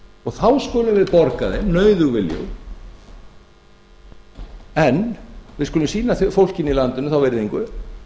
og þá skulum við borga þeim nauðug viljug en við skulum sýna fólkinu í landinu þá virðingu